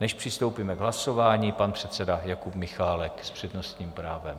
Než přistoupíme k hlasování, pan předseda Jakub Michálek s přednostním právem.